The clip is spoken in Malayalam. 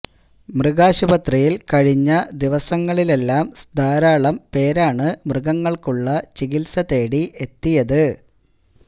മൃഗാശുപത്രിയില് കഴിഞ്ഞ ദിവസങ്ങളിലെല്ലാം ധാരാളം പേരാണ് മൃഗങ്ങള്ക്കുള്ള ചികിത്സ തേടി എത്തിയത്